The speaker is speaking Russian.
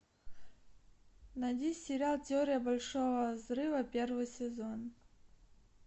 найди сериал теория большого взрыва первый сезон